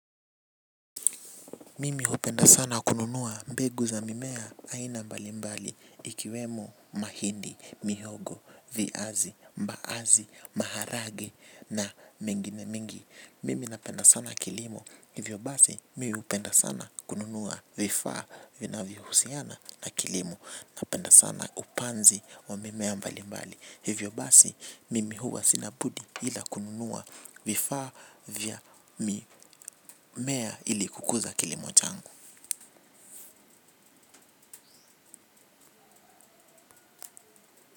Mimi hupenda sana kununua mbegu za mimea aina mbali mbali ikiwemo mahindi mihogo viazi mbaazi maharage na mingine mingi. Mimi napenda sana kilimo hivyo basi mi hupenda sana kununua vifaa vinavyohusiana na kilimo. Napenda sana upanzi wa mimea mbali mbali. Hivyo basi mimi huwa sina budi ila kununua vifaa vya mimea ili kukuza kilimo changu.